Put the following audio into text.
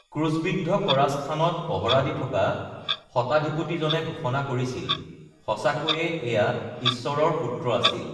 "ক্ৰূছবিদ্ধ কৰা স্থানত পহৰা দি থকা শতাধিপতিজনে ঘোষণা কৰিছিল, ""সঁচাকৈয়ে এয়া ঈশ্বৰৰ পুত্ৰ আছিল!"""